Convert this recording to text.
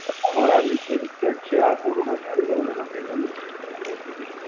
આ મારા Experience જ છે. આ કોરોના ચાલુ થયું ને એના પહેલાનું જ છે આ મારું Experience.